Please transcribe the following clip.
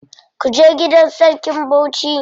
Kuje gidan sarkin Bauchi.